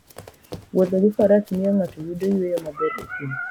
Wuotho gi Faras miyo ng'ato yudo yueyo maber e thim.